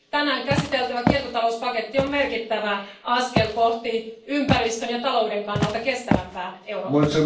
Tänään käsiteltävä kiertotalouspaketti on merkittävä askel kohti ympäristön ja talouden kannalta kestävämpää Eurooppaa.